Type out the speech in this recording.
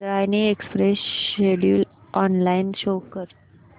Indrayani express schedule online show कर